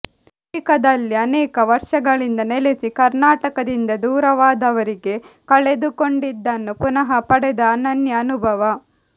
ಅಮೆರಿಕದಲ್ಲಿ ಅನೇಕ ವರ್ಷಗಳಿಂದ ನೆಲೆಸಿ ಕರ್ನಾಟಕದಿಂದ ದೂರವಾದವರಿಗೆ ಕಳೆದುಕೊಂಡಿದ್ದನ್ನು ಪುನಃ ಪಡೆದ ಅನನ್ಯ ಅನುಭವ